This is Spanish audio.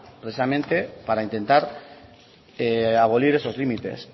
precisamente para intentar abolir esos límites